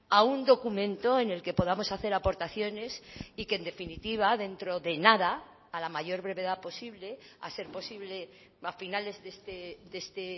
a un documento en el que podamos hacer aportaciones y que en definitiva dentro de nada a la mayor brevedad posible a ser posible a finales de este